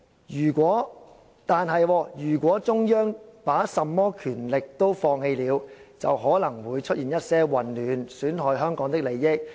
如果中央把甚麼權力都放棄了，就可能會出現一些混亂，損害香港的利益。